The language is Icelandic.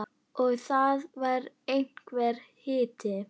Og það var einhver hiti.